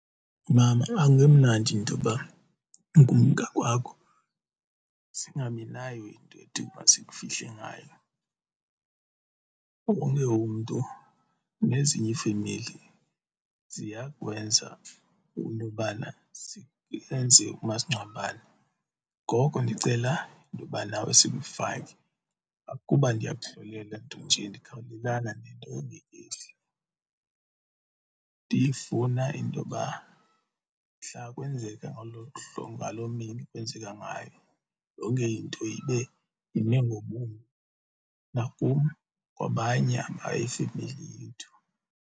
Mama, akungemnandi intoba ukumka kwakho singabi nayo into ethi masikufihle ngayo, wonke umntu nezinye ifemeli ziyakwenza intobana zenze umasingcwabane. Ngoko ndicela intoba nawe sikufake akuba ndiyakuhlolela ntonje ndikhawulelana nento engekehli, ndifuna intoba mhla kwenzeka ngolo hlobo ngaloo mini kwenzeka ngayo yonke into ibe ime ngobumi nakum kwabanye abayifemeli yethu.